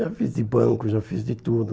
Já fiz de banco, já fiz de tudo.